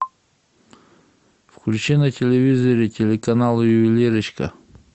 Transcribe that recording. включи на телевизоре телеканал ювелирочка